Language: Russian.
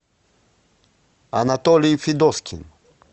анатолий федоскин